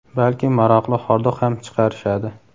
balki maroqli hordiq ham chiqarishadi.